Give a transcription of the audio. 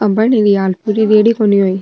आ बन रही हाल पुरी रेडी कोनी हुई।